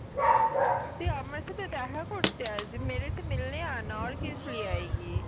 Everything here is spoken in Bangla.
তুই আমার সাথে দেখা করতে আসবি